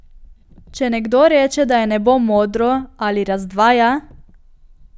Če nekdo reče, da je nebo modro, ali razdvaja?